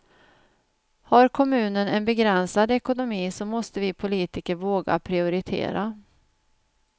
Har kommunen en begränsad ekonomi så måste vi politiker våga prioritera.